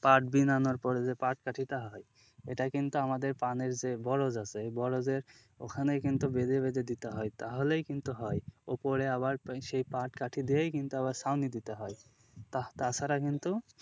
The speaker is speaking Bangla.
পাট বিন আনার পরে যে পাট কাঠিটা হয় এটা কিন্তু আমাদের পানের যে বরজ আছে ওই বরজের ওখানেই কিন্তু বেঁধে বেঁধে দিতে হয় তাহলেই কিন্তু হয়, ওপরে আবার সেই পাট কাঠি দিয়েই কিন্তু আবার ছাউনি দিতে হয় তাছাড়া কিন্তু,